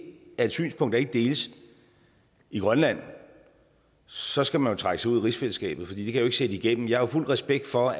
er et synspunkt der ikke deles i grønland så skal man jo trække sig ud af rigsfællesskabet fordi det kan jeg sætte igennem jeg har fuld respekt for